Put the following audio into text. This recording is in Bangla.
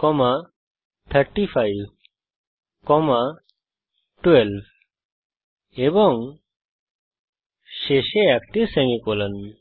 35 12 এবং শেষে একটি সেমিকোলন